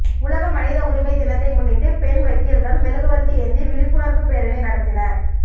உலக மனித உரிமை தினத்தை முன்னிட்டு பெண் வக்கீல்கள் மெழுகுவர்த்தி ஏந்தி விழிப்புணர்வு பேரணி நடத்தினர்